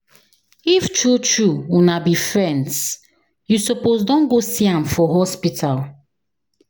If true true una be friends, you suppose don go see am for hospital.